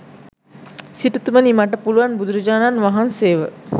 සිටුතුමණි මට පුළුවන් බුදුරජාණන් වහන්සේව